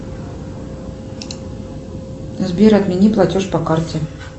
сбер отмени платеж по карте